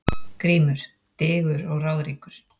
GRÍMUR: Digur og ráðríkur